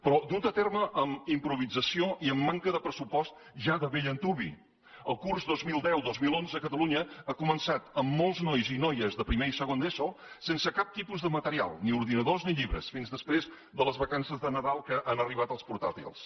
però dut a terme amb improvisació i amb manca de pressupost ja de bell antuvi el curs dos mil deu dos mil onze a catalunya ha començat amb molts nois i noies de primer i segon d’eso sense cap tipus de material ni ordinadors ni llibres fins després de les vacances de nadal que han arribat els portàtils